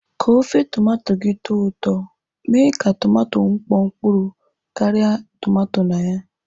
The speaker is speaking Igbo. Ka ofe tomato gị tọọ ụtọ, mee ka tomato mkpọ mkpụrụ kara tomato na ya.